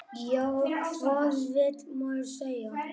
Já, hvað vill maður segja?